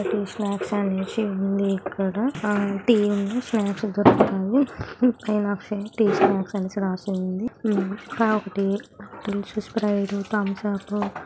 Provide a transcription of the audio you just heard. Tea snacks అని ఇచ్చి ఉంది ఇక్కడ. ఆ టీ ఉంది. స్నాక్స్ దొరుకుతాయి. పైన అక్షయ టీ స్నాక్స్ అనేసి రాసి ఉంది. ఉమ్ ఇంకా ఒకటి డ్రింక్స్ స్ట్రైప్ థంసప్. --